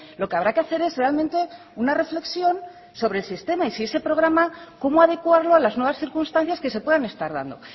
lo que habrá que hacer es realmente una reflexión sobre el sistema y si ese programa cómo adecuarlo a las nuevas circunstancias que se puedan estar dando